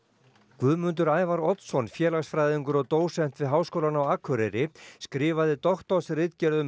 Guðmundur Ævar Oddsson félagsfræðingur og dósent við Háskólann á Akureyri skrifaði doktorsritgerð um